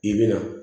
I bɛ na